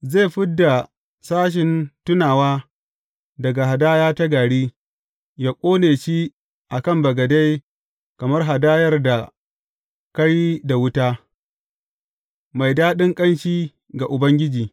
Zai fid da sashen tunawa daga hadaya ta gari, yă ƙone shi a kan bagade kamar hadayar da ka yi da wuta, mai daɗin ƙanshi ga Ubangiji.